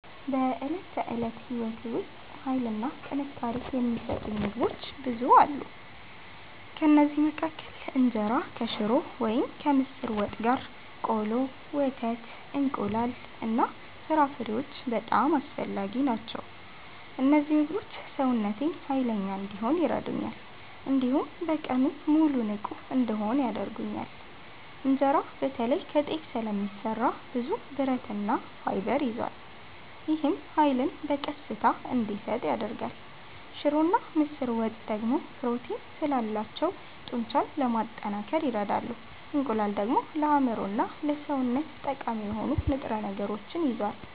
በዕለት ተዕለት ሕይወቴ ውስጥ ኃይልና ጥንካሬ የሚሰጡኝ ምግቦች ብዙ አሉ። ከእነዚህ መካከል እንጀራ ከሽሮ ወይም ከምስር ወጥ ጋር፣ ቆሎ፣ ወተት፣ እንቁላል እና ፍራፍሬዎች በጣም አስፈላጊ ናቸው። እነዚህ ምግቦች ሰውነቴን ኃይለኛ እንዲሆን ይረዱኛል፣ እንዲሁም በቀኑ ሙሉ ንቁ እንድሆን ያደርጉኛል። እንጀራ በተለይ ከጤፍ ስለሚሰራ ብዙ ብረትና ፋይበር ይዟል። ይህም ኃይልን በቀስታ እንዲሰጥ ያደርጋል። ሽሮና ምስር ወጥ ደግሞ ፕሮቲን ስላላቸው ጡንቻን ለማጠናከር ይረዳሉ። እንቁላል ደግሞ ለአእምሮና ለሰውነት ጠቃሚ የሆኑ ንጥረ ነገሮችን ይዟል።